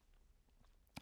TV 2